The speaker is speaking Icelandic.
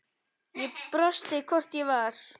Ég brosti, hvort ég var!